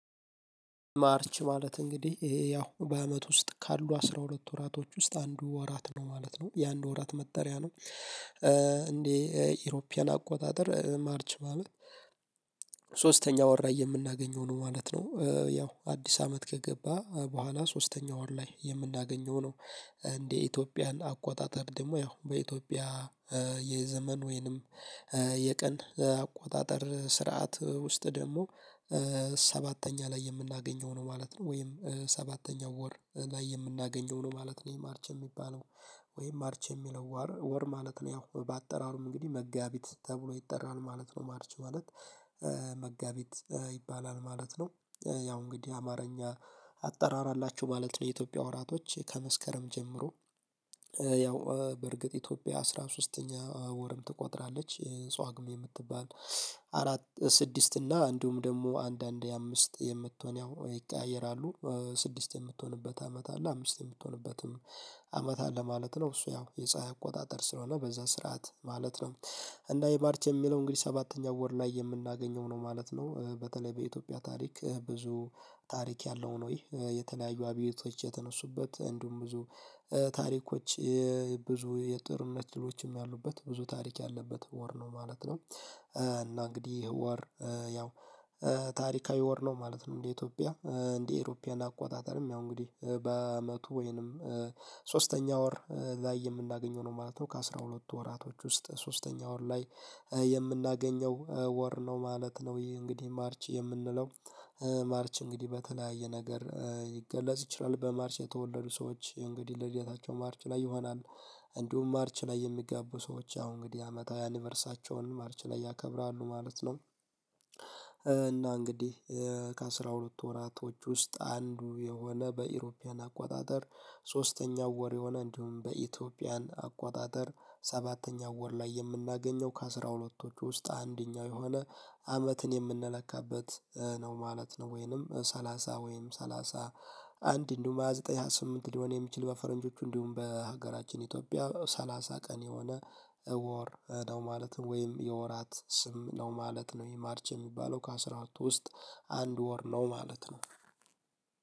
ማርች ማለት እንግዲህ ይሄ ያው በአመት ውስጥ ካሉ አስራ ሁለት ወራቶች ውስጥ አንዱ ወራት ነው ማለት ነው። የአንዱ ወራት መጠሪያ ነው። እንደ ኢሮፒያን አቆጣጠር ማርች ማለት ሶስት ወር ላይ የምናገኘው ነው ማለት ነው። ያው አዲስ አመት ከገባ በኋላ ሶስተኛው ወር ላይ የምናገኘው ነው። እንዴ ኢትዮጵያን አቆጣጠር ደግሞ ያው በኢትዮጵያ የዘመን ወይንም የቀን አቆጣጠር ስርዓት ውስጥ ደግሞ ሰባተኛ ላይ የምናገኘው ነው ማለት ነው። ወይም ሰባተኛው ወር ላይ የምናገኘው ነው ማለት ነው ማርች የሚባለው ወይም ማርች የሚለው ወር ወር ማለት ነው። ያው በአጠራሩም እንግዲህ መጋቢት ተብሎ ይጠራል ነው ማለት ነው ማርች ማለት። መጋቢት ይባላል ማለት ነው። ያው እንግዲህ አማርኛ አጠራር አላቸው ማለት ነው የኢትዮጵያ ወራቶች። ከመስከረም ጀምሮ ያው በርግጥ ኢትዮጵያ አስራ ሶስተኛ ወርም ትቆጥራለች ጷግሜ የምትባል። አራት ስድስት እና እንዲሁም ደግሞ አንዳንዴ አምስት የምትሆን ያው ይቀያየራሉ። ስድስት የምትሆንበት አመት አለ አምስት የምትሆንበትም አመት አለ ማለት ነው። እሱ ያው የፀሀይ አቆጣጠር ስለሆነ በዛ ስርዓት ማለት ነው። እና ይህ ማርች የሚለው እንግዲህ ሰባተኛው ወር ላይ የምናገኘው ነው ማለት ነው። በተለይ በኢትዮጵያ ታሪክ ብዙ ታሪክ ያለው ነው ይሄ። የተለያዩ አብዮቶች የተነሱበት እንዲሁም ብዙ ታሪኮች ብዙ የጦርነት ድሎችም ያሉበት ብዙ ታሪክ ያለበት ወር ነው ማለት ነው። እና እንግዲህ ይህ ወር ያው ታሪካዊ ወር ነው ማለት ነው። እንደ ኢትዮጵያ እንደ አውሮፓውያን አቆጣጠርም ያው እንግዲህ በአመቱ ወይንም ሶስተኛ ወር ላይ የምናገኘው ነው ማለት ነው ከአሥራ ሁለት ወራቶች ውስጥ ሶስተኛ ወር ላይ የምናገኘው ወር ነው ማለት ነው። ይሄ እንግዲህ ማርች የምንለው ማርች እንግዲህ በተለያየ ነገር ይገለጽ ይችላል። በማርች የተወለዱ ሰዎች እንግዲህ ልደታቸው ማርች ላይ ይሆናል። እንዲሁም ማርች ላይ የሚጋቡ ሰዎች ያው እንግዲህ አመታዊ አኒቨርሳቸውን ማርች ላይ ያከብራሉ ማለት ነው። እና እንግዲህ ከአሥራ ሁለትቱ ወራቶች ውስጥ አንዱ የሆነ በኢሮፒያን አቋጣጠር ሶስተኛው ወር የሆነ፤ እንዲሁም በኢትዮጵያን አቋጣጠር ሰባተኛው ወር ላይ የምናገኘው፤ ከአሥራ ሁለትቶቹ ውስጥ አንደኛው የሆነ አመትን የምንለካበት፤ ነው ማለት ነው። ወይንም ሰላሳ ወይንም ሰላሳ አንድ እንዲሁም ሃያ ዘጠኝ ሃያ ስምንት ሊሆን የሚችል በፈረንጆቹ፤ እንዲሁም በሀገራችን ኢትዮጵያ ሰላሳ ቀን የሆነ ወር ነው ማለትም ወይም የወራት ስም ነው ማለት ነው ይህ ማርች የሚባለው ከአስራ ሁለቱ ውስጥ አንድ ወር ነው ማለት ነው።